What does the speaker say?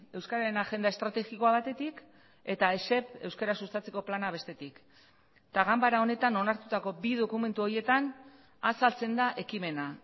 euskararen agenda estrategikoa batetik eta esep euskara sustatzeko plana bestetik eta ganbara honetan onartutako bi dokumentu horietan azaltzen da ekimena